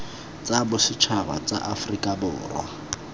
tsa bosetšhaba tsa aforika borwa